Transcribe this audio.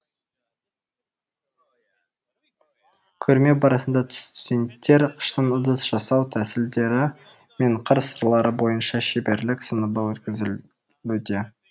көрме барысында студенттер қыштан ыдыс жасау тәсілдері мен қыр сырлары бойынша шеберлік сыныбы өткізлуде